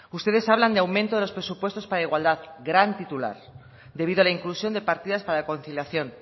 ustedes hablan de aumento de los presupuestos para igualdad gran titular debido a la inclusión de partidas para la conciliación